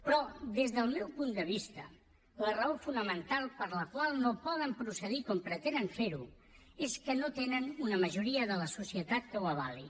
però des del meu punt de vista la raó fonamental per la qual no poden procedir com pretenen fer ho és que no tenen una majoria de la societat que ho avali